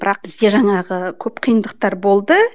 бірақ бізде жаңағы көп қиындықтар болды